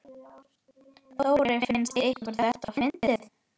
Þórir: Finnst ykkur þetta fyndið?